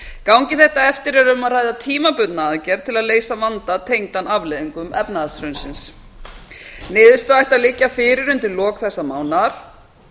gangi þetta eftir er um að ræða tímabundna aðgerð til að leysa vanda tengdan afleiðingum efnahagshrunsins niðurstaða ætti á liggja fyrir undir lok þessa mánaðar